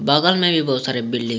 बगल में भी बहुत सारे बिल्डिंग है।